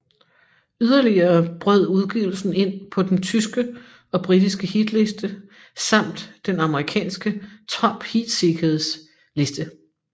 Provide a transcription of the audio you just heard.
Yderligere brød udgivelsen ind på den tyske og britiske hitliste samt den amerikanske Top Heatseekers liste